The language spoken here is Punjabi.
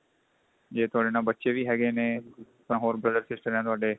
ਜੇ ਤੁਹਾਡੇ ਨਾਲ ਬੱਚੇ ਵੀ ਹੈਗੇ ਨੇ ਤਾਂ ਹੋਰ brother sister ਏ ਤੁਹਾਡੇ